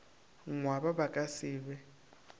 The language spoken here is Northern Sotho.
ngwaba ba ka se be